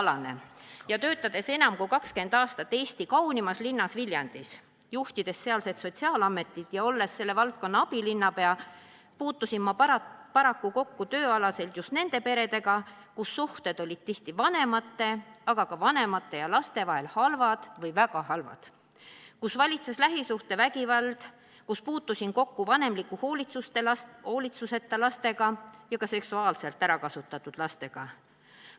Olles töötanud enam kui 20 aastat Eesti kaunimas linnas Viljandis, juhtides sealset sotsiaalametit ja olles selle valdkonna abilinnapea, puutusin ma oma töös kokku paraku just nende peredega, kus suhted olid tihti vanemate, aga ka vanemate ja laste vahel halvad või väga halvad, kus valitses lähisuhtevägivald, kus puutusin kokku vanemliku hoolitsuseta lastega ja ka seksuaalselt ära kasutatud lastega.